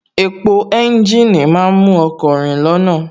Epo ẹ́ńjìnì má ń mú ọkọ̀ rìn lọ́nà